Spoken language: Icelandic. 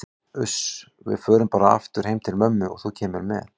Uss, við förum bara aftur heim til ömmu og þú kemur með.